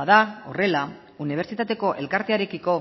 bada horrela unibertsitateko elkartearekiko